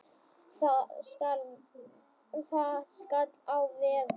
Það skall á veður.